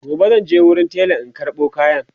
gobe zanje wurin tela in karɓo kayan